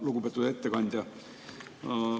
Lugupeetud ettekandja!